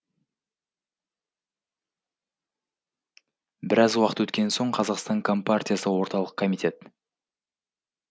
біраз уақыт өткен соң қазақстан компартиясы орталық комитет